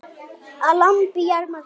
Að lambi jarmar kind.